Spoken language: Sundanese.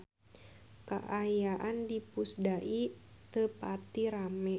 Kaayaan di Pusdai teu pati rame